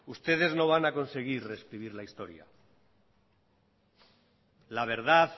ustedes no van a conseguir rescribir la historia la verdad